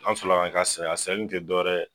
An fila ka saya dɔwɛrɛ ye